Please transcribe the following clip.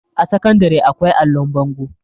a sakandare akwai allon bango